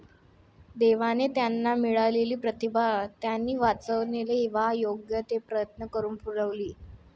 दैवाने त्यांना मिळालेली प्रतिभा त्यानी वाचवणे वा योग्य ते प्रयत्न करून फुलवली.